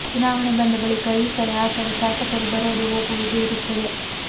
ಚುನಾವಣೆ ಬಂದ ಬಳಿಕ ಈಕಡೆ ಆಕಡೆ ಶಾಸಕರು ಬರೋದು ಹೋಗುವುದು ಇರುತ್ತದೆ